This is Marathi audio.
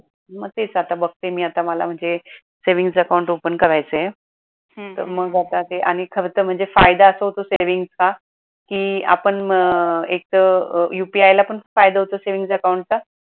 मग तेच आता बघते मी आता मला म्हणजे savings account open करायचे आहे तर मग आता ते आणि खर तर म्हणजे फायदा असा होतो savings चा कि आपण एक तर UPI ला पण फायदा होतो savings account चा